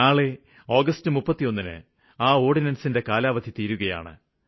നാളെ ആഗസ്റ്റ് 31 ന് ഓര്ഡിനന്സിന്റെ കാലാവധി തീരുകയാണ്